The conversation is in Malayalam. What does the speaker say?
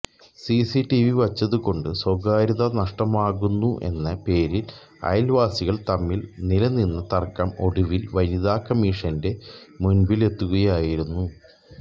സിസിടിവി വച്ചതുകൊണ്ട് സ്വകാര്യത നഷ്ടമാകുന്നെന്ന പേരിൽ അയൽവാസികൾ തമ്മിൽ നിലനിന്ന തർക്കം ഒടുവിൽ വനിതാ കമ്മിഷന്റെ മുന്പിലെത്തുകയായിരുന്നു